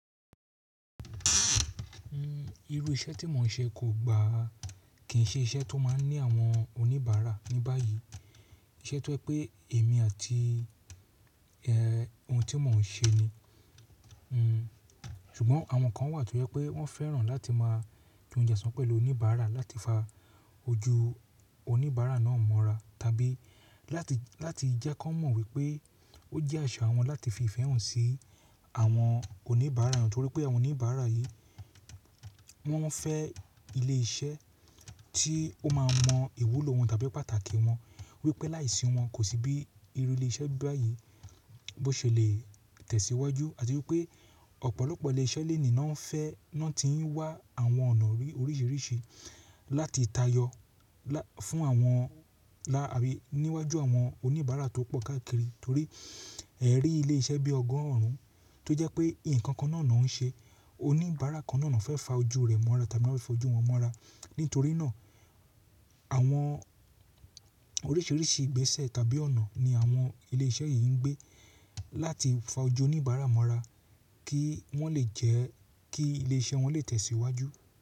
Irú iṣẹ́ tí mò ń ṣe kò gbà á, kì í ṣe iṣẹ́ tó máa ń ní àwọn oníbàárà ní báyìí. Iṣẹ́ tó jẹ́ pé èmi àti e, ohun tí mò ń ṣe ni. Hmmm, ṣùgbọ́n àwọn kan wà tó jẹ́ pé wọ́n fẹ́ràn láti máa jẹ ounje osan pẹ̀lú oníbàárà láti fa ojú oníbàárà náà mọ́ra, tàbí láti, láti jẹ́ kí wọ́n mọ̀ wípé ó jẹ́ àṣà wọn láti fi ìfẹ́ hàn sí àwọn oníbàárà wọn nítorí pé àwọn oníbàárà yìí wọ́n fẹ́ ilé iṣẹ́ tí ó máa mọ ìwúlò wọn tàbí pàtàkì wọn wípé láìsí wọn kò sí bí irú ilé iṣẹ́ báyìí bó ṣe lè tẹ̀síwájú àti wípé ọ̀pọ̀lọpọ̀ ilé iṣẹ́ léèní náà ń fẹ́, náà ti ń wá àwọn ọ̀nà oríṣiríṣi láti tayọ fún àwọn láàárín níwájú àwọn oníbàárà tó pọ̀ káàkiri torí ẹ̀rí ilé iṣẹ́ bí ọgọ́rùn tó jẹ́ pé ǹkan kan náà náà ń ṣe oníbàárà kan náà náà fẹ́ fa ojú rẹ̀ mọ́ra tàbí fẹ́ fa ojú wọn mọ́ra. Nítorí náà àwọn oríṣiríṣi ìgbésẹ̀ tàbí ọ̀nà ni àwọn ilé iṣẹ́ yìí ń gbé láti fa ojú oníbàárà mọ́ra kí wọ́n lè jẹ́, kí ilé iṣẹ́ wọn lè tẹ̀síwájú.